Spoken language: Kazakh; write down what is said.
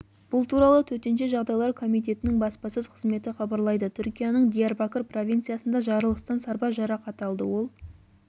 бұл туралы төтенше жағдайлар комитетінің баспасөз қызметі хабарлайды түркияның диярбакыр провинциясында жарылыстан сарбаз жарақат алды ол